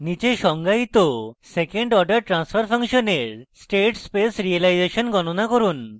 নীচে সংজ্ঞায়িত second order transfer ফাংশনের state space realization গনণা করুন